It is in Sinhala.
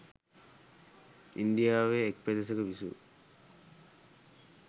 ඉන්දියාවේ එක් පෙදෙසක විසූ